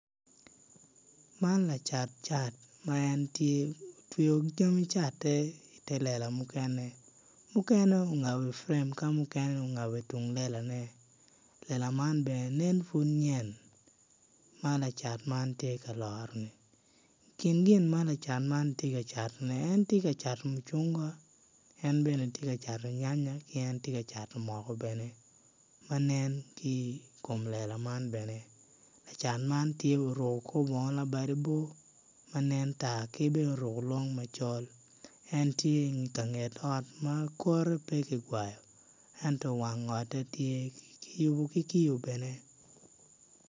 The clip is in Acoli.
Man lacat cat ma en tye otweyo jami catte ite lela mukene mukene ongabo i prem ka mukene ongabo itung lelane lela man bene nen pud yen ma lacat man tye ka loroni kin gin ma lacat man tye ka catoni en tye ka cato mucungwa en bene tye ka cato nyanya ki en tye ka cato moko bene ma nen ki i kom lela man bene. Lacat man tye oruko korbongo labade bor ki bene oruko long macol en tye ikanget ot ma kore pe kigwayo ento wang ote tye kiyubo ki kiyo bene.